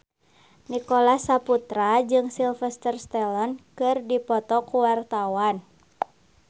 Nicholas Saputra jeung Sylvester Stallone keur dipoto ku wartawan